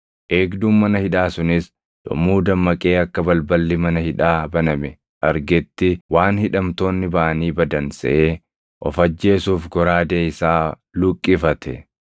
Eegduun mana hidhaa sunis yommuu dammaqee akka balballi mana hidhaa baname argetti waan hidhamtoonni baʼanii badan seʼee of ajjeesuuf goraadee isaa luqqifate.